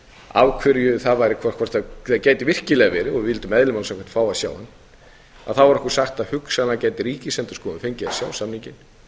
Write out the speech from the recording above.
af hverju það væri hvort það gæti virkilega verið og við vildum eðli máls samkvæmt fá að sjá hann var okkur sagt að hugsanlega gæti ríkisendurskoðun fengið að sjá samninginn